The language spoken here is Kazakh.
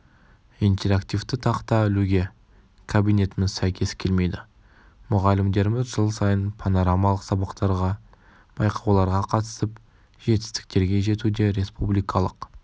интерактивті тақта ілуге кабинетіміз сәйкес келмейді мұғалімдеріміз жыл сайын понорамалық сабақтарға байқауларға қатысып жетістіктерге жетуде республикалық